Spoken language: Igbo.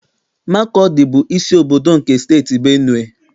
Makọdị bụ isi obodo nke Steeti Benue.